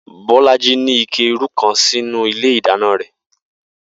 Bó̩lájí ní ike irú kan sínú ilé ìdáná rè̩